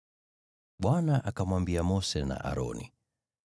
Bwana akamwambia Mose na Aroni: